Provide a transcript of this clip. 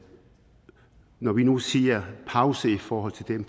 og når vi nu siger pause i forhold til dem